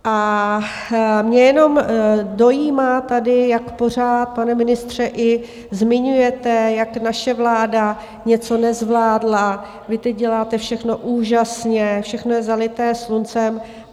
A mě jenom dojímá tady, jak pořád, pane ministře, i zmiňujete, jak naše vláda něco nezvládla, vy teď děláte všechno úžasně, všechno je zalité sluncem.